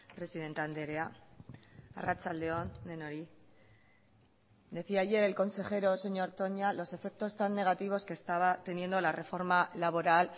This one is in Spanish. presidente andrea arratsalde on denoi decía ayer el consejero señor toña los efectos tan negativos que estaba teniendo la reforma laboral